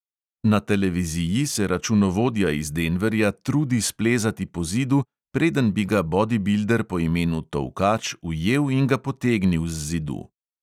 Na televiziji se računovodja iz denverja trudi splezati po zidu, preden bi ga bodibilder po imenu tolkač ujel in ga potegnil z zidu.